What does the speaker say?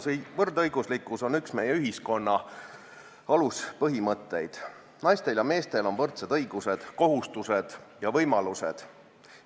Sooline võrdõiguslikkus on üks meie ühiskonna aluspõhimõtteid: naistel ja meestel on võrdsed õigused, kohustused ja võimalused.